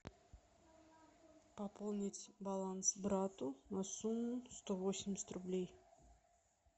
пополнить баланс брату на сумму сто восемьдесят рублей